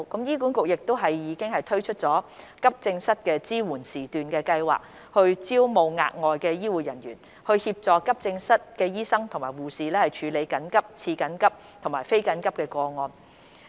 醫管局亦已推出急症室支援時段計劃，招募額外醫護人員，協助急症室醫生和護士處理緊急、次緊急和非緊急的個案。